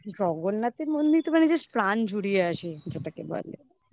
জগন্নাথের মন্দিরে মানে just প্রাণ ঝুড়িয়ে আসে যেটাকে বলে. একবার নিজের চোখে